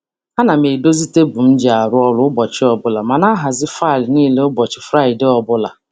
A na m edozi tebụl m ji arụ ọrụ ụbọchị ọbụla ma na ahazi faịlụ niile ụbọchị Fraịdee ọbụla.